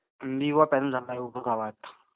युवा पेनल उभ राहिलाय गावात.